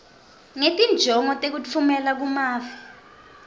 ngetinjongo tekutfumela kumave